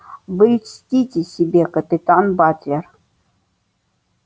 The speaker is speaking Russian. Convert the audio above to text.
вы льстите себе капитан батлер